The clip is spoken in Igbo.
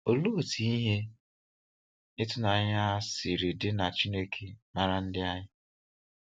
Olee otú ihe ịtụnanya a siri dị na Chineke maara ndị anyị.